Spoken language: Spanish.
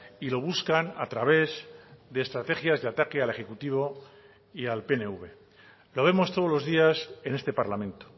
y lo buscan a través de estrategias de ataque al ejecutivo y al pnv lo vemos todos los días en este parlamento